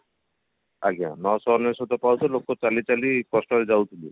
ଆଜ୍ଞା ନଶହ ଅନେଶୋତ ପାହୁଚ ଲୋକେ ଚାଲି ଚାଲି କଷ୍ଟରେ ଯାଉଥିଲେ